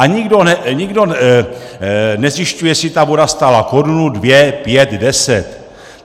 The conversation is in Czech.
A nikdo nezjišťuje, jestli ta voda stála korunu, dvě, pět, deset.